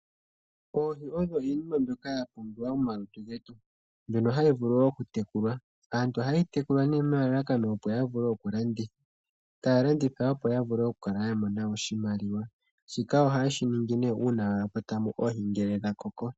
Oohi oyo iinima mbyoka ya pumbiwa momalutu getu, mbyono hayi vulu okutekulwa aantu ohayeyi tekula nee etalanditha opo yi imonene mo oshimaliwa.